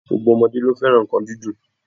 Gbogbo ọmọdé ni ó fẹ́ràn nǹkan dídùn